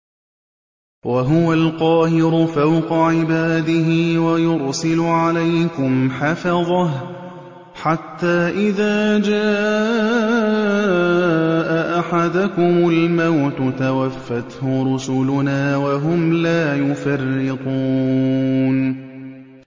وَهُوَ الْقَاهِرُ فَوْقَ عِبَادِهِ ۖ وَيُرْسِلُ عَلَيْكُمْ حَفَظَةً حَتَّىٰ إِذَا جَاءَ أَحَدَكُمُ الْمَوْتُ تَوَفَّتْهُ رُسُلُنَا وَهُمْ لَا يُفَرِّطُونَ